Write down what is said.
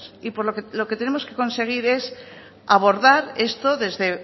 y lo que tenemos que conseguir es abordar esto desde